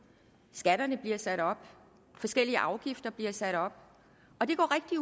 skatterne bliver sat op forskellige afgifter bliver sat op og det går rigtig